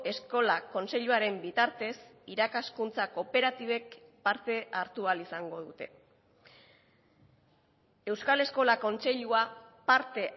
eskola kontseiluaren bitartez irakaskuntza kooperatibek parte hartu ahal izango dute euskal eskola kontseilua parte